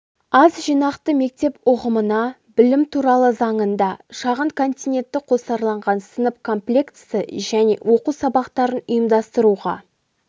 аз жинақты мектеп ұғымына білім туралы заңында шағын континентті қосарланған сынып комплектісі және оқу сабақтарын ұйымдастыруға